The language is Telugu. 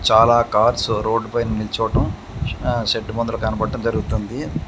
చాలా కార్స్ రోడ్ పైన నిల్చోటం షడ్డు ముందర కనపడడం జరుగుతుంది.